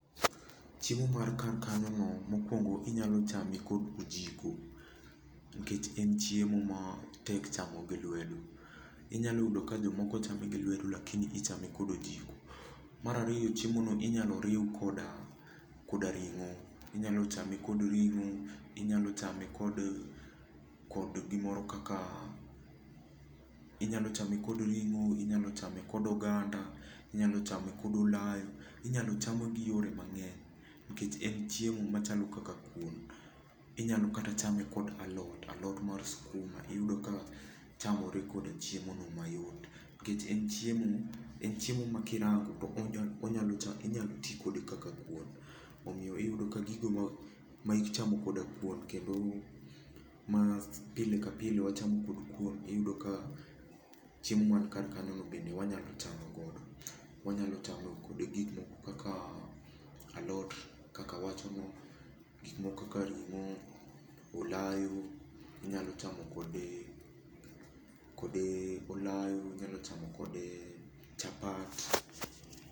Chiemo man kar kanyo no mokuongo inyalo chame kod ojiko, nikech en chiemo ma tek chamo gi lwedo. Inyalo yudo ka jomoko chame gi lwedo lakini ichame kod ojiko. Mar ariyo chiemo no inyalo riw koda koda ring'o. Inyalo chame kod ring'o, inyalo chame kod, kod gimoro kaka, inyalo chame kod ring'o, inyalo chame kod oganda, inyalo chame kod olayo. Inyalo chame gi yore mang'eny nikech en chiemo machalo kaka kuon. Inyalo kata chame kod alot, alot mar skuma iyudo ka chamore koda chiemo no mayot. Nikech en chiem, en chiemo ma kirango, inyalo ti kode kaka kuon. Omiyo iyudo ka gigoma ichamo koda kuon, kendo ma pile ka pile wachamo kod kuon iyudo ka chiemo man kar kanyo no bende wanyalo chamo kode. Wanyalo chame kode gik moko kaka alot kaka awacho no, gik moko kaka ring'o, olayo, inyalo chamo kode kode olayo, inyalo chamo kode chapat.